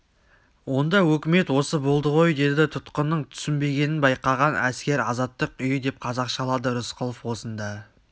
онда өкімет осы болды ғой деді тұтқынның түсінбегенін байқаған әскер азаттық үйі деп қазақшалады рысқұлов осында